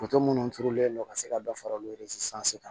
minnu turulen don ka se ka dɔ fara olu kan